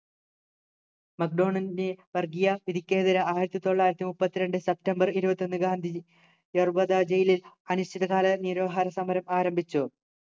വർഗീയ വിധിക്കെതിരെ ആയിരത്തിതൊള്ളായിരത്തിമുപ്പത്തിരണ്ടു സപ്റ്റംബർ ഇരുപത്തൊന്ന് ഗാന്ധിജി യെർവാദാ ജയിലിൽ അനിശ്ചിതകാല നിരാഹാര സമരം ആരംഭിച്ചു